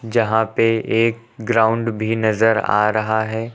जहाँ पे एक ग्राउंड भी नजर आ रहा है।